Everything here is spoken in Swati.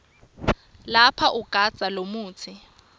lapha ugandza lomutsi